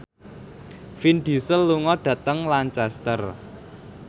Vin Diesel lunga dhateng Lancaster